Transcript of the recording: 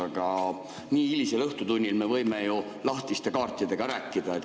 Aga nii hilisel õhtutunnil me võime ju lahtiste kaartidega rääkida.